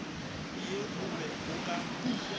ye o be o ka